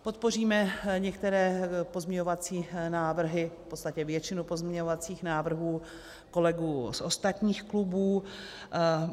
Podpoříme některé pozměňovací návrhy, v podstatě většinu pozměňovacích návrhů kolegů z ostatních klubů.